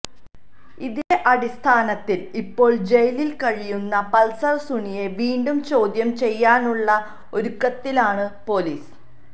ഇതിന്റെ അടിസ്ഥാനത്തില് ഇപ്പോള് ജയിലില് കഴിയുന്ന പള്സര് സുനിയെ വീണ്ടും ചോദ്യം ചെയ്യാനുള്ള ഒരുക്കത്തിലാണ് പോലീസ്